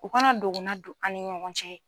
O kana dogona don an ni ɲɔgɔn cɛ.